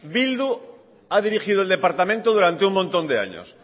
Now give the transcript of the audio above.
bildu ha dirigido el departamento durante un montón de años